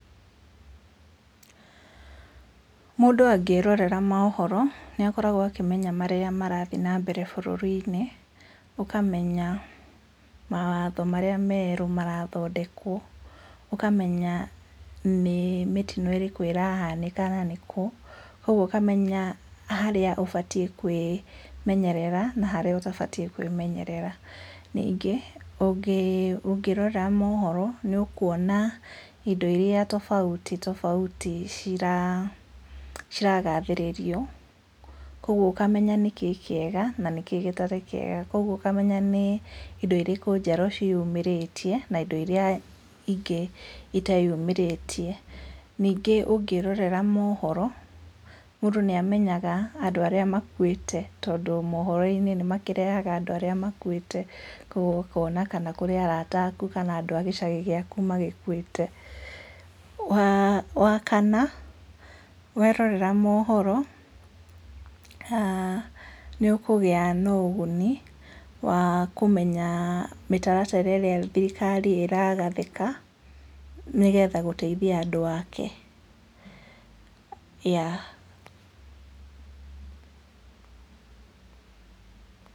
Mũndũ angĩrorera mohoro, nĩakoragwo akĩmenya marĩa marathiĩ nambere bũrũrinĩ, ũkamenya mawatho marĩa merũ marathondekwo, ũkamenya nĩ mĩtino ĩrĩkũ ĩrahanĩka na nĩkũ, koguo ũkamenya harĩa ũbatiĩ kwĩmenyerera, na haria ũtabatiĩ kwĩmenyerera. Ningĩ ũngĩ ũngĩ rora mohoro, nĩũkuona indo iria tofauti tofauti ciragathĩrĩrio, koguo ũkamenya nĩkĩĩ kĩega na nĩkĩ gĩtarĩ kĩega, koguo ũkamenya nĩ indo irikũ njerũ ciĩyumĩrĩtie na indo iria ingĩ iteyumĩrĩtie, ningĩ ũngĩrorera mohoro, mũndũ nĩamenyaga andũ arĩa makuĩte tondũ mohoroinĩ nĩmakĩreha andũ arĩa makuĩte, koguo ũkona kana kũrĩ arata aku kana andũ a gĩcagi gĩaku magĩkuĩte. Wa wa kana, werorera mohoro, nĩũkũgĩa na ũguni wa kũmenya mĩtara tara ĩrĩa thirikari ĩragathĩka, nĩgetha gũteithia andũ ake.